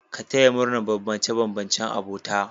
Ka taya murnar bambance-bambancen abota